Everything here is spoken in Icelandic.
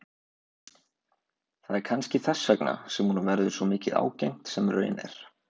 Það er kannski þess vegna sem honum verður svo mikið ágengt sem raun er.